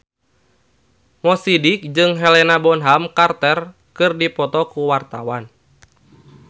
Mo Sidik jeung Helena Bonham Carter keur dipoto ku wartawan